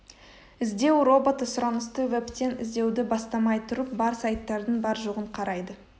іздеу роботы сұранысты вебтен іздеуді бастамай тұрып бар сайттардың бар жоғын қарайды